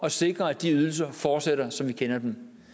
at sikre at de ydelser fortsætter som vi kender dem